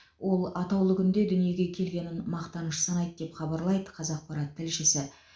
ол атаулы күнде дүниеге келгенін мақтаныш санайды деп хабарлайды қазақпарат тілшісі